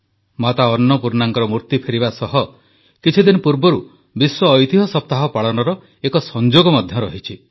ମାତା ଅନ୍ନପୂର୍ଣ୍ଣାଙ୍କ ମୂର୍ତ୍ତି ଫେରିବା ସହ କିଛିଦିନ ପୂର୍ବରୁ ବିଶ୍ୱ ଐତିହ୍ୟ ସପ୍ତାହ ପାଳନର ଏକ ସଂଯୋଗ ମଧ୍ୟ ରହିଛି